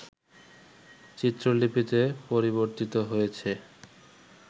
চিত্রলিপিতে পরিবর্তিত হয়েছে